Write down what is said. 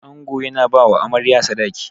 Ango yana bawa Amarya Sadaki.